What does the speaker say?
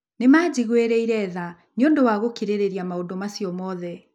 Nĩ maanjiguĩrĩire tha nĩ ũndũ wa gũkirĩrĩria maũndũ macio mothe.